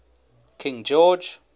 king george